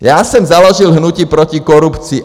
Já jsem založil hnutí proti korupci.